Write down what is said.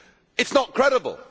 It is not credible.